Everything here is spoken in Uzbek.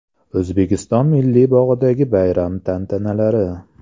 O‘zbekiston Milliy bog‘idagi bayram tantanalari.